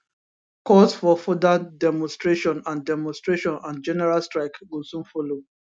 calls for further demonstration and demonstration and general strike go soon follow